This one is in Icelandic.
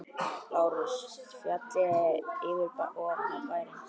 LÁRUS: Fjallið fyrir ofan bæinn.